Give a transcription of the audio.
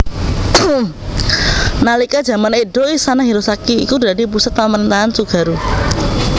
Nalika jaman Edo Istana Hirosaki iku dadi pusat pamrentahan Tsugaru